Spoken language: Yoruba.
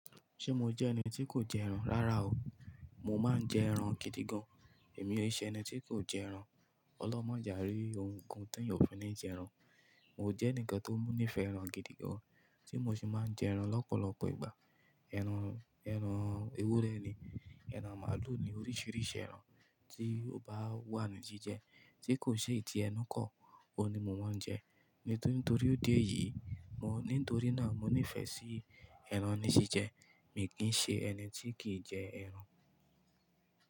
Ṣé mo jẹ́ ẹni tí kò jẹ ẹran? Rárá o, mo máa ń jẹ ẹran gidi gan. Èmi o ṣe ẹni tí kò jẹ ẹran. Ọlọ́run má jẹ́ árí ohun kan téèyàn ò fi ní jẹ ẹran. Mo jẹ́ ẹnìkan tó ní ìfẹ́ ẹran gidi gan, tí mo sì máa ń jẹ ẹran lọ́pọ̀lọpọ̀ ìgbà. Ẹran, ẹran ewúrẹ́ ni, ẹran màálù ni, oríṣiríṣi ẹran tí ó bá wà ní jíjẹ tí kò ṣe ti ẹnu kọ́ òun ni mo máa ń jẹ. Nítorí idi yìí, mo-- nítorí náà mo nífẹ̀ẹ́ sí ẹran ní jíjẹ. Mi kì í ṣe ẹni tí kì í jẹ ẹran.